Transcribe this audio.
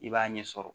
I b'a ɲɛ sɔrɔ